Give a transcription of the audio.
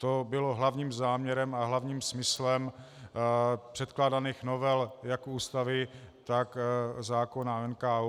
To bylo hlavním záměrem a hlavním smyslem předkládaných novel jak Ústavy, tak zákona o NKÚ.